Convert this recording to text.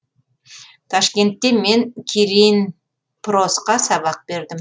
ташкентте мен киринпросқа сабақ бердім